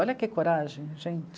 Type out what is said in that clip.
Olha que coragem, gente!